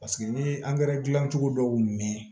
Paseke n'i ye dilan cogo dɔw mɛn